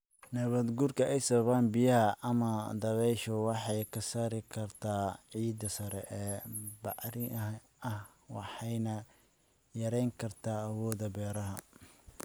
Nabaadguurka ay sababaan biyaha ama dabayshu waxay ka saari kartaa ciidda sare ee bacrin ah waxayna yareyn kartaa awoodda beeraha.